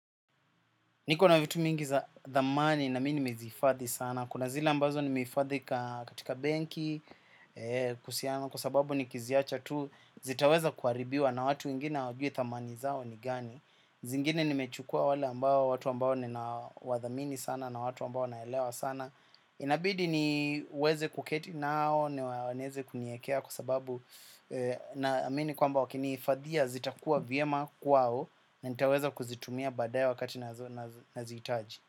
Niko na vitu mingi za thamani na mi nimezihifadhi sana. Kuna zile ambazo nimehifadhi katika benki kuhusiana kwa sababu nikiziacha tu zitaweza kuharibiwa na watu wengine hawajui thamani zao ni gani. Zingine nimechukua wale ambao watu ambao ninawathamini sana na watu ambao naelewa sana. Inabidi niweze kuketi nao na wanaeza kuniekea kwa sababu naamini kwamba wakinihifadhia zitakuwa vyema kwao na nitaweza kuzitumia badaye wakati nazozihitaji.